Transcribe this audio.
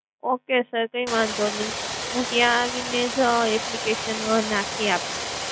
okay sir કઈ વાંધો નઇ. હુ ત્યાં આવીને જ application નાખી આપીશ.